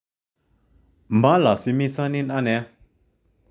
Molosimisonon ane